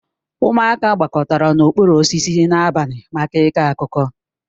Ụmụaka gbakọtara n'okpuru osisi n'abalị maka ịkọ akụkọ